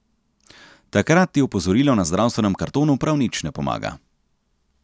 Takrat ti opozorilo na zdravstvenem kartonu prav nič ne pomaga.